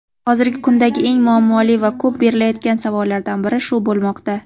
Hozirgi kundagi eng muammoli va ko‘p berilayotgan savollardan biri shu bo‘lmoqda.